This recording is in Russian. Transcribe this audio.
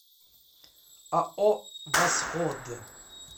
ао восход